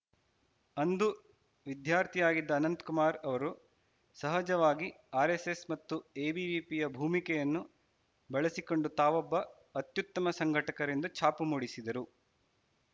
ಅಂದು ವಿದ್ಯಾರ್ಥಿಯಾಗಿದ್ದ ಅನಂತಕುಮಾರ್‌ ಅವರು ಸಹಜವಾಗಿ ಆರ್‌ಎಸ್‌ಎಸ್‌ ಮತ್ತು ಎಬಿವಿಪಿಯ ಭೂಮಿಕೆಯನ್ನು ಬಳಸಿಕೊಂಡು ತಾವೊಬ್ಬ ಅತ್ಯುತ್ತಮ ಸಂಘಟಕರೆಂದು ಛಾಪು ಮೂಡಿಸಿದರು